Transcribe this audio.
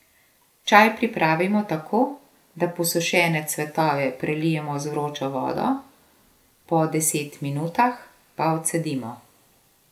Čaj pripravimo tako, da posušene cvetove prelijemo z vročo vodo, po deset minutah pa odcedimo.